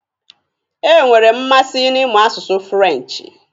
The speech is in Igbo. E nwere m mmasị n'ịmụ asụsụ furenchi.